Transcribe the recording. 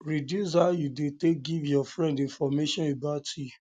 reduce how you de take give your friend information about you